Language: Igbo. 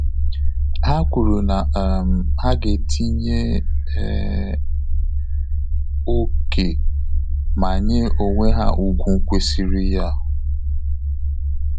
Ha kwuru na um ha ga etinye um ókè ma nye onwe ha ugwu kwesịrị ya um